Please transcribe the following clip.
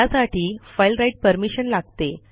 त्यासाठी file write permission लागते